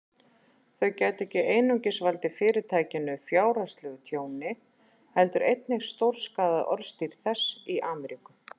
Þau gætu ekki einungis valdið Fyrirtækinu fjárhagslegu tjóni, heldur einnig stórskaðað orðstír þess í Ameríku.